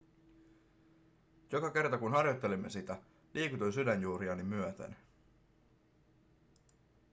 joka kerta kun harjoittelimme sitä liikutuin sydänjuuriani myöten